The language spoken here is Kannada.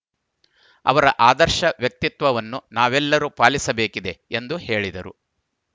ಅವರ ಆದರ್ಶ ವ್ಯಕ್ತಿತ್ವವನ್ನು ನಾವೆಲ್ಲರೂ ಪಾಲಿಸಬೇಕಿದೆ ಎಂದು ಹೇಳಿದರು